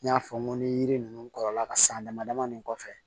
N y'a fɔ n ko ni yiri ninnu kɔrɔla ka san damadamanin kɔfɛ